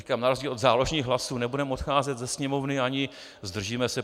Říkám, na rozdíl od záložních hlasů nebudeme odcházet ze sněmovny ani zdržíme se.